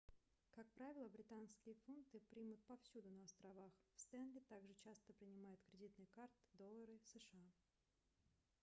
как правило британские фунты примут повсюду на островах в стэнли также часто принимают кредитные карты и доллары сша